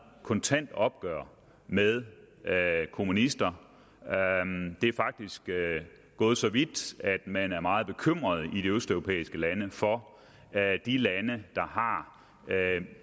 kontant opgør med kommunister det er faktisk gået så vidt at man er meget bekymret i de østeuropæiske lande for de lande der har